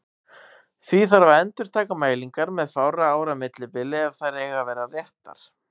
Því þarf að endurtaka mælingar með fárra ára millibili ef þær eiga að vera réttar.